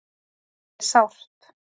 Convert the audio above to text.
Það er sárt